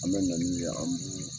An be na n'u ye , an b'u